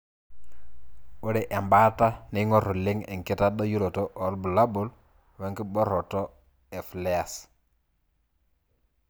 Ore embataa neingor oleng enkitadoyioroto obulabul wenkiboroto e flares.